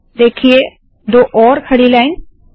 देखिए दो और खड़ी लाइन्स